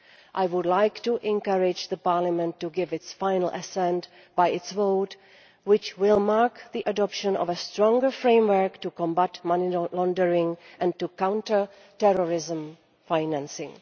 I would like to encourage Parliament to give its final assent by its vote, which will mark the adoption of a stronger framework to combat money laundering and to counter terrorism financing.